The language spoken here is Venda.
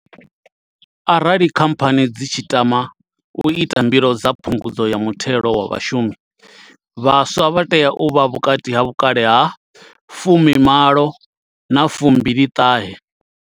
Arali khamphani dzi tshi tama u ita mbilo dza phungudzo ya muthelo wa vhashumi, vhaswa vha tea u vha vhukati ha vhukale ha fumi malo na fumbili ṱhahe.